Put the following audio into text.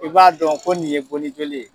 I b'a dɔn ko nin ye bonni joli ye.